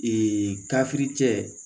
Ee kafiri cɛ